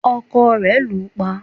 ọkọ rẹ̀ lù ú pa